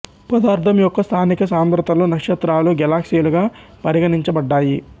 పదార్థం యొక్క స్థానిక సాంద్రతలు నక్షత్రాలు గెలాక్సీలుగా పరిగణించ బడ్డాయి